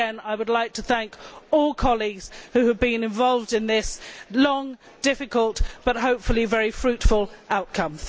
Again, I would like to thank all colleagues who have been involved in this long, difficult but, hopefully, very fruitful outcome.